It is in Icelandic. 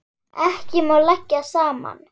Ekki má leggja saman.